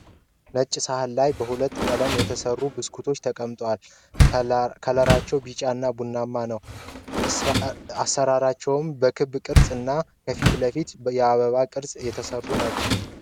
ነጭ ሰሀን ለይ በሁለት ቀለም የተሰሩ ብስኩቶች ተቀምጠዋል ።ከለራቸው ቢጫ እና ቡናማ ነው ። አሰራራቸውም በክብ ቅርጽ እና ከፊት ለፊታቸው በአበባ ቅርጽ የተሰራባቸው ናቸው።